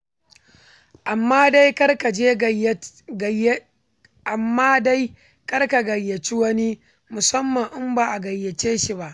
Amma dai kar ka gayyaci wani, musamman in ba a gayyace shi ba.